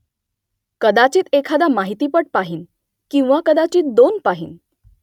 कदाचित एखादा माहितीपट पाहीन . किंवा कदाचित दोन पाहीन